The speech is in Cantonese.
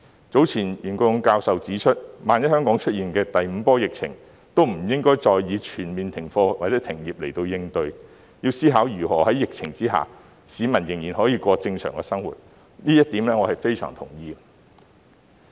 早前袁國勇教授指出，萬一香港出現第五波疫情，亦不應再以全面停課或停業來應對，要思考如何在疫情下讓市民仍然可以過正常生活，這一點我是相當同意的。